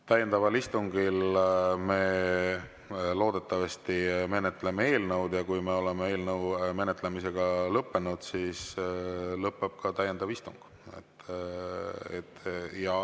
Täiendaval istungil me loodetavasti menetleme eelnõu ja kui me oleme eelnõu menetlemise lõpetanud, siis lõpeb ka täiendav istung.